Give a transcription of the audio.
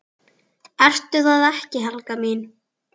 Ertu það ekki, Helga mín?